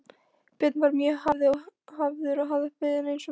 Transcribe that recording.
Björn var mjög hafður að vinnu eins og fyrr segir.